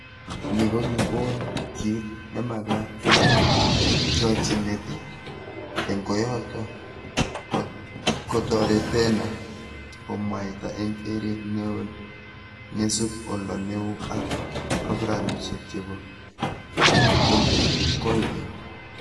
Ni kokikon kit nemagat eng chochinet eng koyoto, kotoretana komwaita eng keret neo neisub oldo neo ak programishek chebo koykeny